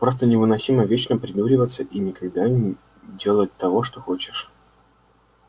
просто невыносимо вечно придуриваться и никогда не делать того что хочешь